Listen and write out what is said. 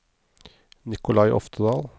Nicolai Oftedal